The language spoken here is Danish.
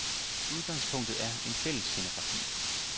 Udgangspunktet er en fælles scenografi.